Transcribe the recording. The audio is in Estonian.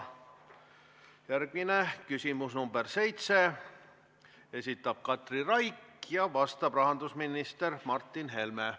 Järgmine küsimus, nr 7: esitab Katri Raik ja vastab rahandusminister Martin Helme.